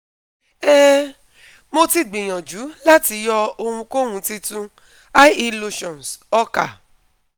um Mo ti gbiyanju lati yọ ohunkohun titun, ie lotions, ọkà